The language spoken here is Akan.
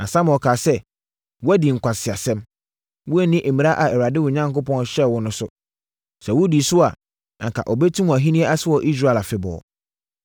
Na Samuel kaa sɛ, “Woadi nkwaseasɛm. Woanni mmara a Awurade, wo Onyankopɔn, hyɛɛ wo no so. Sɛ wodii so a, anka ɔbɛtim wʼahennie ase wɔ Israel afebɔɔ.